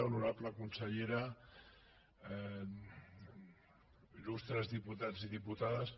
honorable consellera il·lustres diputats i diputades